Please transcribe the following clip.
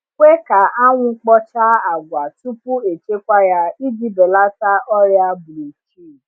Kwe ka anwụ kpochaa agwa tupu echekwa ya iji belata ọrịa bruchid.